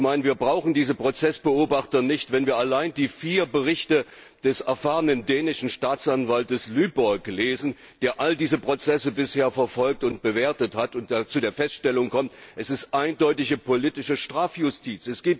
Ich meine, wir brauchen diese Prozessbeobachter nicht, wenn wir allein die vier Berichte des erfahrenen dänischen Staatsanwaltes Lyngbo lesen, der all diese Prozesse bisher verfolgt und bewertet hat und zu der Feststellung kommt, es ist eindeutige politische Strafjustiz.